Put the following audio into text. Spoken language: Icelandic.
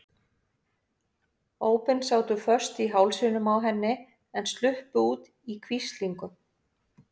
Ópin sátu föst í hálsinum á henni en sluppu út í hvíslingum.